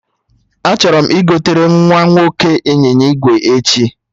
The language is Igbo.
Achọrọ m igotere nwa nwoke ịnyịnya ígwè uhie